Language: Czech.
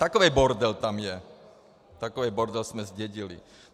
Takový bordel tam je, takový bordel jsme zdědili.